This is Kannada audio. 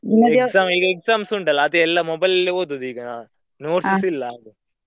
Exam ಈಗ exams ಉಂಟಲ್ಲಾ ಅದೆಲ್ಲಾ mobile ಅಲ್ಲೆ ಓದುದು ಈಗಾ. notes ಇಲ್ಲಾ ಅದು.